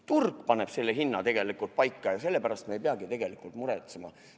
Tegelikult paneb turg selle hinna paika ja me ei peagi muretsema.